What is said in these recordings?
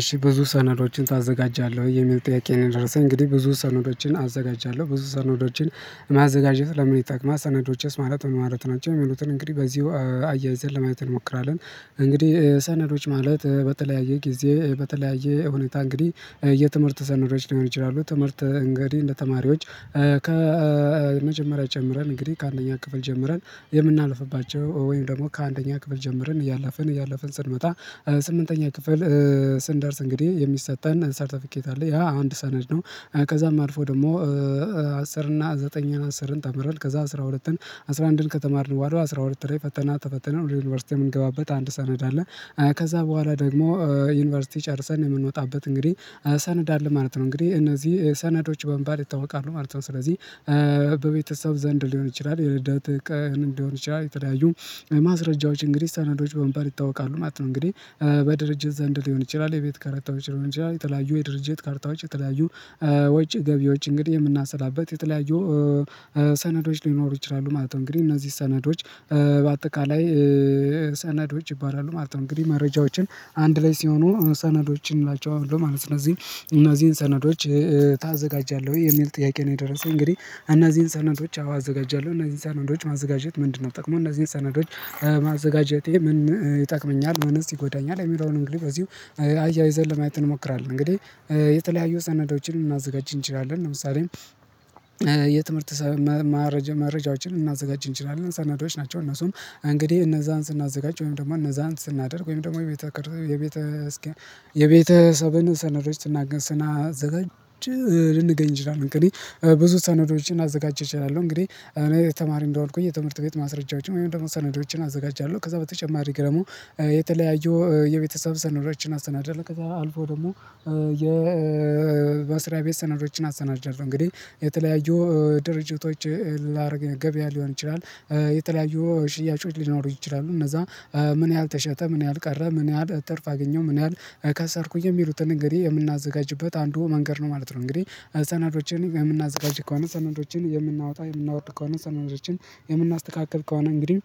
እሺ ብዙ ሰነዶችን ታዘጋጃለህ ወይ የሚል ጥያቄ ነው? የደረሰኝ እንግዲህ ብዙ ሰነዶችን አዘጋጃለሁ ብዙ ሰነዶችን። ማዘጋጀት ለምን ይጠቅማል ሰነዶችስ ማለት ምን ማለት ናቸው? የሚሉትን እንግዲህ በዚሁ አያይዘን ለማየት እንሞክራለን። እንግዲህ ሰነዶች ማለት በተለያየ ጊዜ በተለያየ ሁኔታ እንግዲህ የትምህርት ሰነዶች ሊሆኑ ይችላሉ። ትምህርት እንግዲህ ለተማሪዎች ከመጀመሪያ ጀምረን እንግዲህ ከአንደኛ ክፍል ጀምረን የምናልፍባቸው ወይም ደግሞ ከአንደኛ ክፍል ጀምረን እያለፍን እያለፍን ስንመጣ ስምንተኛ ክፍል ስንደርስ እንግዲህ የሚሰጠን ሰርተፊኬት አለ ያ አንድ ሰነድ ነው። ከዛም አልፎ ደግሞ አስር እና ዘጠኝን አስርን ተምረን ከዛ አስራ ሁለትን አስራ አንድን ከተማርን በኋላ አስራ ሁለት ላይ ፈተና ተፈትነን ወደ ዩኒቨርሲቲ የምንገባበት አንድ ሰነድ አለ። ከዛ በኋላ ደግሞ ዩኒቨርሲቲ ጨርሰን የምንወጣበት እንግዲህ ሰነድ አለ ማለት ነው። እንግዲህ እነዚህ ሰነዶች በሚባል ይታወቃሉ ማለት ነው። ስለዚህ በቤተሰብ ዘንድ ሊሆን ይችላል የልደት ቀን ሊሆን ይችላል የተለያዩ ማስረጃዎች እንግዲህ ሰነዶች በመባል ይታወቃሉ ማለት ነው። እንግዲህ በድርጅት ዘንድ ሊሆን ይችላል የቤት ካርታዎች ሊሆን ይችላል የተለያዩ የድርጅት ካርታዎች የተለያዩ ወጪ ገቢዎች እንግዲህ የምናሰላበት የተለያዩ ሰነዶች ሊኖሩ ይችላሉ ማለት ነው። እንግዲህ እነዚህ ሰነዶች በአጠቃላይ ሰነዶች ይባላሉ ማለት ነው። እንግዲህ መረጃዎችን አንድ ላይ ሲሆኑ ሰነዶችን እናላቸዋለን ማለት ነው። እነዚህ እነዚህን ሰነዶች ታዘጋጃለህ ወይ የሚል ጥያቄ ነው? የደረሰኝ እንግዲህ እነዚህን ሰነዶች አው አዘጋጃለሁ። እነዚህን ሰነዶች ማዘጋጀት ምንድነው? ጥቅሙ እነዚህን ሰነዶች ማዘጋጀቴ ምን ይጠቅመኛል ምንስ ይጎዳኛል? የሚለውን እንግዲህ በዚሁ አያይዘን ለማየት እንሞክራለን። እንግዲህ የተለያዩ ሰነዶችን ልናዘጋጅ እንችላለን ለምሳሌ የትምህርት መረጃዎችን ልናዘጋጅ እንችላለን ሰነዶች ናቸው። እነሱም እንግዲህ እነዛን ስናዘጋጅ ወይም ደግሞ እነዛን ስናደርግ ወይም ደግሞ የቤተ የቤተ እስኪ የቤተሰብን ሰነዶች ስናዘጋጅ ልንገኝ እንችላለን። እንግዲህ ብዙ ሰነዶችን አዘጋጅቻለሁ እንግዲህ እኔ የተማሪ እንደሆንኩኝ የትምህርት ቤት ማስረጃዎችን ወይም ደግሞ ሰነዶችን አዘጋጃለሁ። ከዛ በተጨማሪ ደግሞ የተለያዩ የቤተሰብ ሰነዶችን አሰናዳለሁ። ከዛ አልፎ ደግሞ የ በስራ ቤት ሰነዶችን አሰናድጃለሁ። እንግዲህ የተለያዩ ድርጅቶች ላደርግ ገበያ ሊሆን ይችላል። የተለያዩ ሽያጮች ሊኖሩ ይችላሉ። እነዛ ምን ያህል ተሸጠ ምን ያህል ቀረ ምን ያህል ትርፍ አገኘ ምን ያህል ከሰርኩኝ የሚሉትን እንግዲህ የምናዘጋጅበት አንዱ መንገድ ነው ማለት ነው። እንግዲህ ሰናዶችን የምናዘጋጅ ከሆነ ሰነዶችን የምናወጣ የምናወርድ ከሆነ ሰነዶችን የምናስተካክል ከሆነ እንግዲህ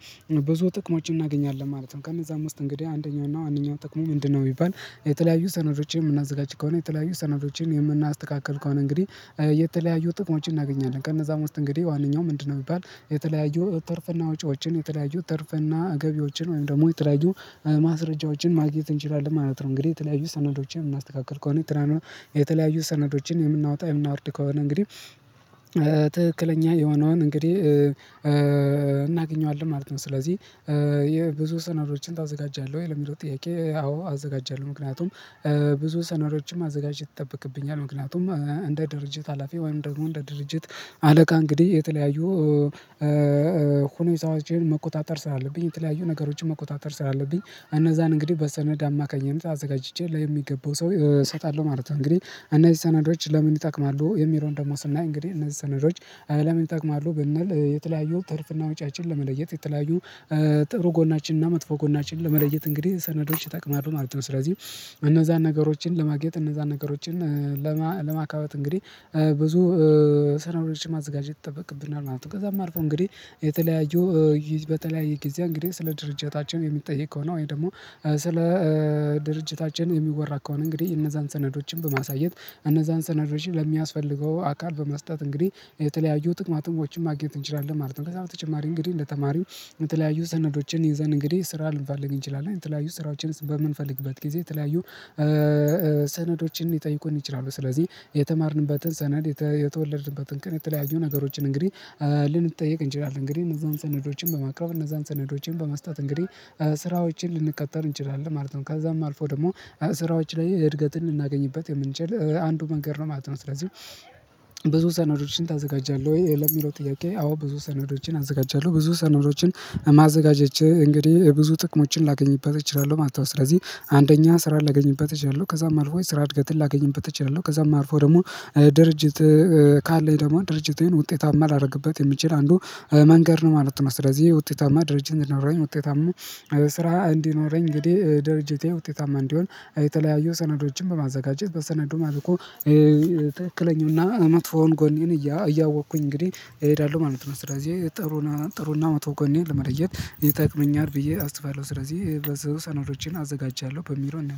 ብዙ ጥቅሞችን እናገኛለን። ማለትም ከነዛም ውስጥ እንግዲህ አንደኛው እና ዋነኛው ጥቅሙ ምንድነው? ቢባል የተለያዩ ሰነዶችን የምናዘጋጅ ከሆነ የተለያዩ ሰነዶችን የምናስተካክል ከሆነ እንግዲህ የተለያዩ ጥቅሞችን እናገኛለን ከእነዛም ውስጥ እንግዲህ ዋነኛው ምንድነው ቢባል የተለያዩ ትርፍና ወጪዎችን የተለያዩ ትርፍና ገቢዎችን ወይም ደግሞ የተለያዩ ማስረጃዎችን ማግኘት እንችላለን። ማለት ነው። እንግዲህ የተለያዩ ሰነዶችን የምናስተካክል ከሆነ የተለያዩ ሰነዶችን የምናወጣ የምናወርድ ከሆነ እንግዲህ ትክክለኛ የሆነውን እንግዲህ እናገኘዋለን ማለት ነው። ስለዚህ የብዙ ሰነዶችን ታዘጋጃለህ ወይ ለሚለው ጥያቄ? አዎ አዘጋጃለሁ። ምክንያቱም ብዙ ሰነዶችም ማዘጋጀት ይጠበቅብኛል ምክንያቱም እንደ ድርጅት ሀላፊ ወይም ደግሞ እንደ ድርጅት አለቃ እንግዲህ የተለያዩ ሰራዎችን መቆጣጠር ስላለብኝ የተለያዩ ነገሮችን መቆጣጠር ስላለብኝ እነዛን እንግዲህ በሰነድ አማካኝነት አዘጋጅቼ ለሚገባው ሰው እሰጣለሁ ማለት ነው። እንግዲህ እነዚህ ሰነዶች ለምን ይጠቅማሉ የሚለውን ደግሞ ስናይ እንግዲህ እነዚህ ሰነዶች ለምን ይጠቅማሉ? ብንል የተለያዩ ትርፍና ወጪያችን ለመለየት የተለያዩ ጥሩ ጎናችንና መጥፎ ጎናችን ለመለየት እንግዲህ ሰነዶች ይጠቅማሉ ማለት ነው። ስለዚህ እነዛን ነገሮችን ለማግኘት እነዛን ነገሮችን ለማካበት እንግዲህ ብዙ ሰነዶችን ማዘጋጀት ይጠበቅብናል ማለት ነው። ከዛም አልፎ እንግዲህ የተለያዩ ሊዝ በተለያየ ጊዜ እንግዲህ ስለ ድርጅታችን የምንጠይቅ ከሆነ ወይ ደግሞ ስለ ድርጅታችን የሚወራ ከሆነ እንግዲህ እነዛን ሰነዶችን በማሳየት እነዛን ሰነዶች ለሚያስፈልገው አካል በመስጠት እንግዲህ የተለያዩ ጥቅማ ጥቅሞችም ማግኘት እንችላለን ማለት ነው። ከዛ በተጨማሪ እንግዲህ እንደ ተማሪው የተለያዩ ሰነዶችን ይዘን እንግዲህ ስራ ልንፈልግ እንችላለን የተለያዩ ስራዎችን በምንፈልግበት ጊዜ የተለያዩ ሰነዶችን ሊጠይቁን ይችላሉ። ስለዚህ የተማርንበትን ሰነድ የተወለድንበትን ቀን የተለያዩ ነገሮችን እንግዲህ ልንጠይቅ እንችላለን እንግዲህ እነዛን ሰነዶችን በማቅረብ እነዛን ሰነዶችን በመስጠት እንግዲህ ስራዎችን ልንቀጠር እንችላለን። ማለት ነው ከዛም አልፎ ደግሞ ስራዎች ላይ እድገትን ልናገኝበት የምንችል አንዱ መንገድ ነው ማለት ነው። ስለዚህ ብዙ ሰነዶችን ታዘጋጃለህ ወይ ለሚለው ጥያቄ? አዎ ብዙ ሰነዶችን አዘጋጃለሁ። ብዙ ሰነዶችን ማዘጋጀት እንግዲህ ብዙ ጥቅሞችን ላገኝበት እችላለሁ ማለት ነው። ስለዚህ አንደኛ ስራ ላገኝበት እችላለሁ ከዛም አልፎ ስራ እድገትን ላገኝበት እችላለሁ። ከዛም አልፎ ደግሞ ድርጅት ካለኝ ደግሞ ድርጅቴን ውጤታማ ላደርግበት የሚችል አንዱ መንገድ ነው ማለት ነው። ስለዚህ ውጤታማ ድርጅት እንዲኖራኝ ውጤታማ ስራ እንዲኖረኝ እንግዲህ ድርጅቴ ውጤታማ እንዲሆን የተለያዩ ሰነዶችን በማዘጋጀት በሰነዱ መልኩ ትክክለኛውና መጥፎውን ጎኔን እያወቅኩኝ እንግዲህ እሄዳለሁ ማለት ነው። ስለዚህ ጥሩና ጥሩና መጥፎ ጎኔን ለመለየት ይጠቅመኛል ብዬ አስባለሁ። ስለዚህ ብዙ ሰነዶችን አዘጋጅቻለሁ በሚለው